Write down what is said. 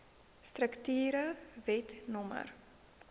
strukture wet no